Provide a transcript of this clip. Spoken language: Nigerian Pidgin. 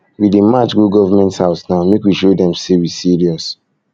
we dey march go government house now make we show um dem say um we serious um